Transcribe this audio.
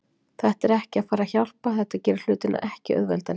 Þetta er ekki að fara að hjálpa, þetta gerir hlutina ekki auðveldari.